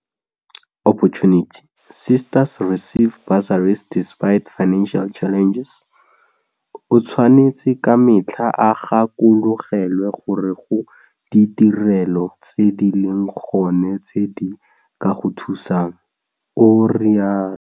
O tshwanetse ka metlha o gakologelwe gore go ditirelo tse di leng gone tse di ka go thusang, o rialo.